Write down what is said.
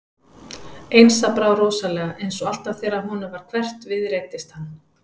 Einsa brá rosalega og eins og alltaf þegar honum varð hverft við reiddist hann.